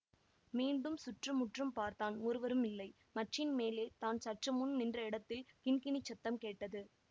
மீண்டும் சுற்று முற்றும் பார்த்தான் ஒருவரும் இல்லை மச்சின் மேலே தான் சற்று முன் நின்ற இடத்தில் கிண்கிணிச் சத்தம் கேட்டது